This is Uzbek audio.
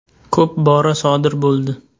Ko‘p bora sodir bo‘ldi.